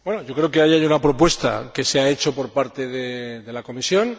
Creo que ahí hay una propuesta que se ha hecho por parte de la Comisión.